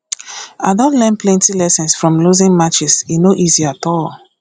i don learn plenty lessons from losing matches e no easy at all